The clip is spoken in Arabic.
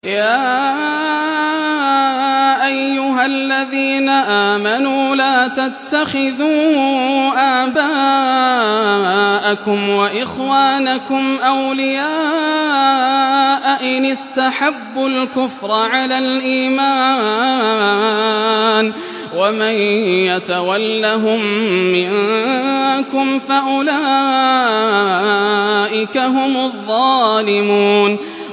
يَا أَيُّهَا الَّذِينَ آمَنُوا لَا تَتَّخِذُوا آبَاءَكُمْ وَإِخْوَانَكُمْ أَوْلِيَاءَ إِنِ اسْتَحَبُّوا الْكُفْرَ عَلَى الْإِيمَانِ ۚ وَمَن يَتَوَلَّهُم مِّنكُمْ فَأُولَٰئِكَ هُمُ الظَّالِمُونَ